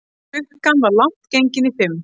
Klukkan var langt gengin í fimm.